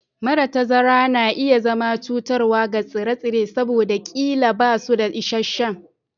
Mara tazarar na iya zama cutarwa ga tsire-tsire saboda ƙila ba su da isasshen